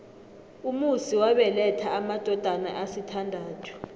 umusi wabeletha amadodana asithandathu